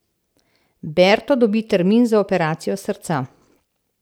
Berto dobi termin za operacijo srca.